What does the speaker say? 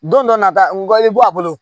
Don dɔ nata bɛ bɔ a bolo